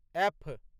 F